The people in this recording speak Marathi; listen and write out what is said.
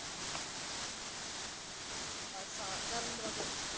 पच सहा चार minute बाकी आहे आजुन.